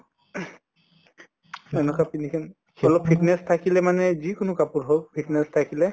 ing তেনেকুৱা পিন্ধিছে fitness থাকিলে মানে যি কোনো কাপোৰ হৌক fitness থাকিলে